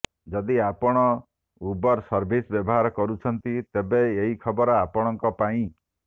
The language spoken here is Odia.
ଯଦି ଆପଣ ଉବର୍ ସର୍ଭିସ୍ ବ୍ୟବହାର କରୁଛନ୍ତି ତେବେ ଏହି ଖବର ଆପଣଙ୍କ ପାଇଁ